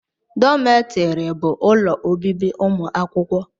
Dọmetiri bụ ụlọ obibi ụmụ akwụkwọ